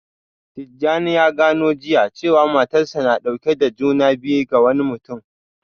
Tijjani ya gano jiya cewa matarsa ​​na dauke da juna biyu ga wani mutum